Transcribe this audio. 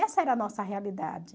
Essa era a nossa realidade.